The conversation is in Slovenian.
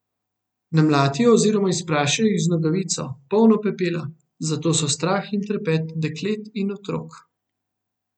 Namlatijo oziroma izprašijo jih z nogavico, polno pepela, zato so strah in trepet deklet in otrok.